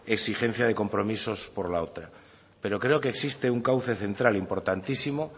exigencia de compromisos por la otra pero creo que existe un cauce central importantísimo